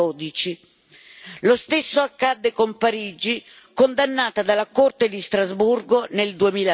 2012. Lo stesso accadde con Parigi, condannata dalla Corte di Strasburgo nel